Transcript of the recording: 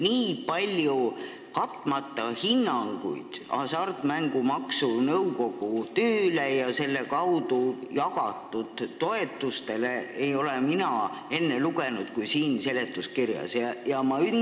Nii palju katmata hinnanguid Hasartmängumaksu Nõukogu tööle ja selle kaudu jagatud toetustele, kui on siin seletuskirjas, ei ole mina enne lugenud.